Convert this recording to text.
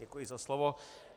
Děkuji za slovo.